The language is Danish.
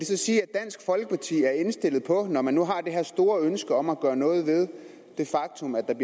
det så sige at dansk folkeparti er indstillet på når man nu har det her store ønske om at gøre noget ved det faktum at